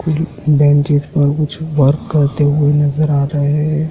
जो बेंचेज पर कुछ वर्क करते हुए नजर आ रहे हैं।